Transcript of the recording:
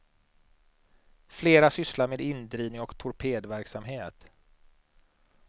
Flera sysslar med indrivning och torpedverksamhet.